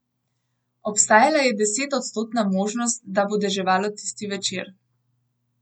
Obstajala je desetodstotna možnost, da bo deževalo tisti večer.